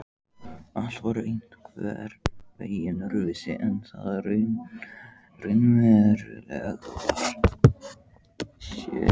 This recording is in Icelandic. Allt var einhvern veginn öðruvísi en það raunverulega var.